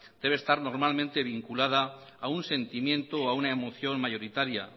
debe estar normalmente vinculada a un sentimiento o a una emoción mayoritaria